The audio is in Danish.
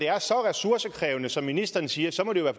er så ressourcekrævende som ministeren siger så må det jo